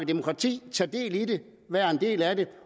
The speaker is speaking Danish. demokrati tage del i det være en del af det